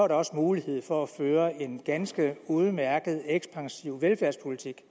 der også mulighed for at føre en ganske udmærket ekspansiv velfærdspolitik